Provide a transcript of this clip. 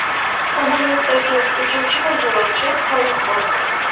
Samolyotdagi uchuvchi va yo‘lovchi halok bo‘ldi.